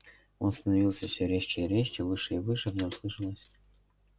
он становился всё резче и резче выше и выше в нём слышалось